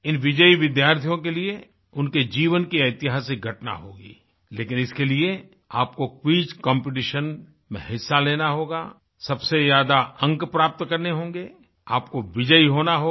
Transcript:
इन विजयी विद्यार्थियों के लिए उनके जीवन की ऐतिहासिक घटना होगीलेकिन इसके लिए आपको क्विज कॉम्पिटिशन में हिस्सा लेना होगा सबसे ज्यादा अंक प्राप्त करने होंगे आपको विजयी होना होगा